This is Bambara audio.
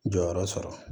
Jɔyɔrɔ sɔrɔ